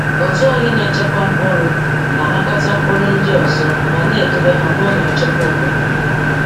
Otu anyị na-echekwa mkpụrụ na-anakọta mkpụrụ ndị ọzọ ma na-edobe ha n’ụlọ nchekwa obodo.